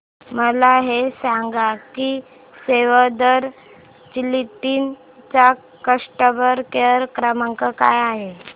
मला हे सांग की सेव्ह द चिल्ड्रेन चा कस्टमर केअर क्रमांक काय आहे